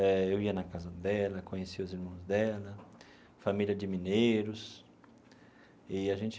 Eh eu ia na casa dela, conheci os irmãos dela, família de mineiros, e a gente...